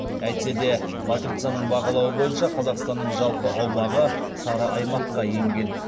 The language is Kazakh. әйтсе де матрицаның бағалауы бойынша қазақстанның жалпы аумағы сары аймаққа енген